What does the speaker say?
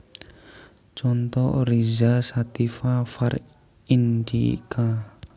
Conto Oryza sativa var indica